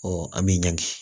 an bɛ ɲagami